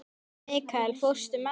Mikkael, ekki fórstu með þeim?